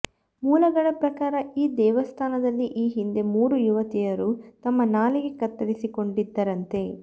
ಮೂಲಗಳ ಪ್ರಕಾರ ಈ ದೇವಸ್ಥಾನದಲ್ಲಿ ಈ ಹಿಂದೆ ಮೂರು ಯುವತಿಯರು ತಮ್ಮ ನಾಲಿಗೆ ಕತ್ತರಿಸಿಕೊಂಡಿದ್ದರಂತೆ